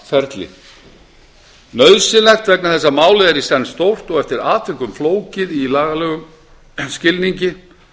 tímaferli nauðsynlegt vegna þess að málið er í senn stórt og eftir atvikum flókið í lagalegum skilningi